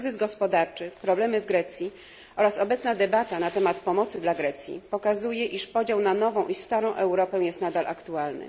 Kryzys gospodarczy, problemy w Grecji, a także obecna debata na temat pomocy dla Grecji pokazuje, że podział na nową i starą Europę jest nadal aktualny.